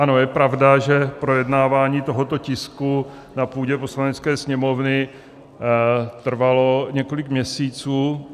Ano, je pravda, že projednávání tohoto tisku na půdě Poslanecké sněmovny trvalo několik měsíců.